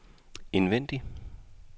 indvendig